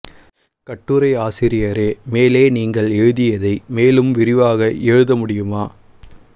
கட்டுரை ஆசிரியரே மேலே நீங்கள் எழுதியதை மேலும் விரிவாக எழுத முடியுமா